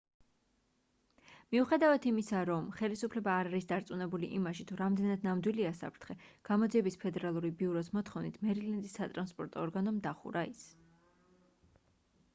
მიუხედავად იმისა რომ ხელისუფლება არ არის დარწმუნებული იმაში თუ რამდენად ნამდვილია საფრთხე გამოძიების ფედერალური ბიუროს მოთხოვნით მერილენდის სატრანსპორტო ორგანომ დახურა ის